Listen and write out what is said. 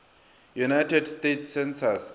united states census